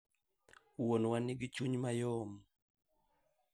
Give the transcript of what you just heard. Wuonwa nigi chuny mayom